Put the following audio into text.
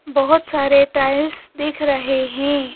बहुत सारे टाइल्स दिख रहे हैं।